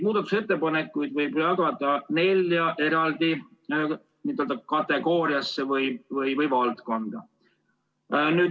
Muudatusettepanekud võib jagada nelja kategooriasse või valdkonda.